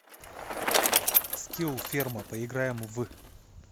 скилл ферма поиграем в